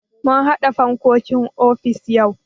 Mun haɗa fankokin ofis yau.